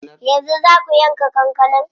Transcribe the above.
Yanzu zaa ku yanka kankanar?